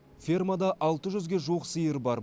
фермада алты жүзге жуық сиыр бар